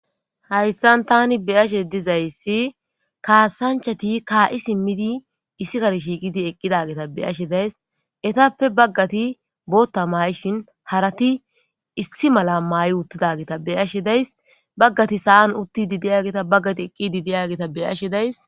hayssan tani beyashe dizayssi kaasanchati kaa7i simmidi issi kar shiiqidi eqqidageta beyashe days etappe baggati bootta mayshin harati issi mala may7i uttidageta beyashe days baggati sa7an utti di deyageta baggati eqqidi diyagita beyashe days